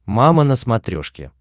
мама на смотрешке